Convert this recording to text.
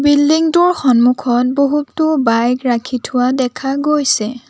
Building টোৰ সন্মুখত বহুতো বাইক ৰাখি থোৱা দেখা পোৱা গৈছে।